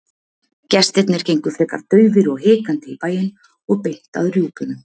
Gestirnir gengu frekar daufir og hikandi í bæinn og beint að rjúpunum.